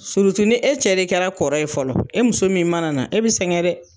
ni e cɛ de kɛra kɔrɔ ye fɔlɔ , e muso min mana na e bi singɛ dɛ!